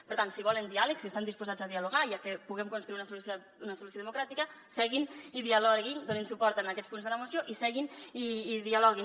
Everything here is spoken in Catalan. per tant si volen diàleg si estan disposats a dialogar i a que puguem construir una solució democràtica seguin i dialoguin donin suport a aquests punts de la moció i seguin i dialoguin